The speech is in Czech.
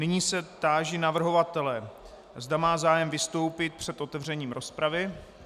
Nyní se táži navrhovatele, zda má zájem vystoupit před otevřením rozpravy.